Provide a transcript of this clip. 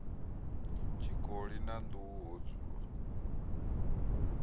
tshikoli na nḓuhu ho dzulwa